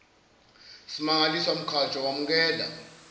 smangaliswa mkhatshwa wamukela